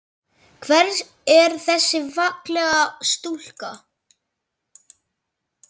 Hver er þessi fallega stúlka?